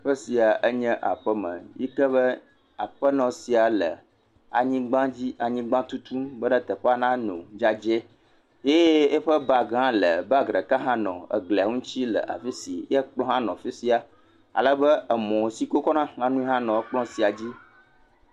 Teƒe sia enye aƒeme yi ke be aƒenɔ sia le anyigba di anyigba tutum be teƒea nanɔ dzedzɛ ye yiƒe bagi hã le bagi ɖeka hã nɔ eglia ŋuti le afi si ye ekplɔ hã le afi sia ale be emɔ yike wokɔ xlena enu hã nɔ ekplɔ sia dzi.